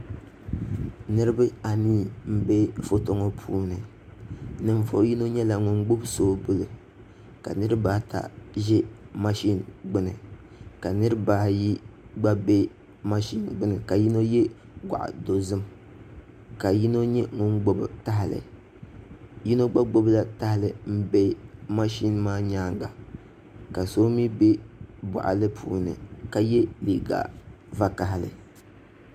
Niraba anii n bɛ foto ŋo puuni Ninvuɣu yino nyɛla ŋun gbubi soobuli ka niraba ata ʒi mashin gbuni ka niraba ayi gba bɛ mashin gbuni ka yino yɛ goɣa dozim ka yino nyɛ ŋun gbubi tahali yino gba gbubila tahali n bɛ mashin maa nyaanga ka so mii bɛ boɣali puuni ka yɛ liiga vakaɣali